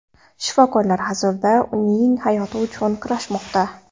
Shifokorlar hozirda uning hayoti uchun kurashmoqda.